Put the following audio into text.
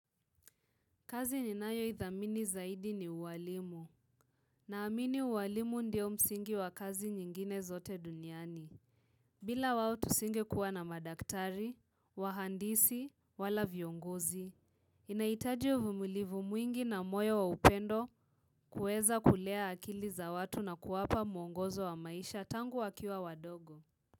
Kazi ninayo idhamini zaidi ni uwalimu. Naamini ualimu ndiyo msingi wa kazi nyingine zote duniani. Bila wao tusinge kuwa na madaktari, wahandisi, wala viongozi. Inahitaji uvumilivu mwingi na moyo wa upendo kuweza kulea akili za watu na kuwapa muongozo wa maisha tangu wakiwa wadogo.